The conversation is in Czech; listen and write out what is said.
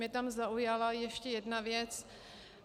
Mě tam zaujala ještě jedna věc.